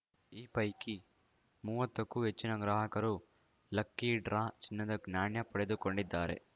ಈ ಪೈಕಿ ಮೂವತ್ತಕ್ಕೂ ಹೆಚ್ಚಿನ ಗ್ರಾಹಕರು ಲಕ್ಕಿ ಡ್ರಾ ಚಿನ್ನದ ನಾಣ್ಯ ಪಡೆದುಕೊಂಡಿದ್ದಾರೆ